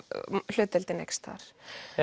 hlutdeildin eykst þar